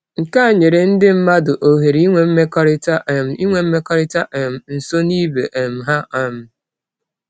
Nke a nyere ndị mmadụ ohere inwe mmekọrịta um inwe mmekọrịta um nso na ibe um ha. um